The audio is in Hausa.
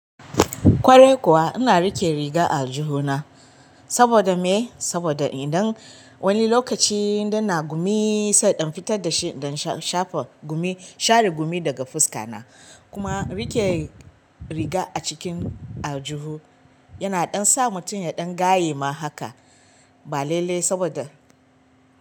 Kwarai kuwa ina riƙe riga a aljihu na. Saboda me? Saboda idan wani lokaci idan na gumi sai in fitar da shi, don sha shafa gumi, share gumi daga fuska na. Kuma rike riga a cikin aljihu yana ɗan sa mutum ya ɗan gayema haka. Ba lalle saboda.